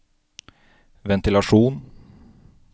ventilasjon